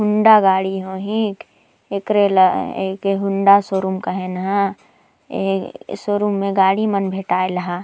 हौंडा गाड़ी होही एकरे ला होंडा शोरूम कहै नहै इ शोरूम ए गाड़ी मन भेटाइल ह --